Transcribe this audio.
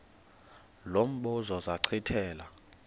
lo mbuzo zachithela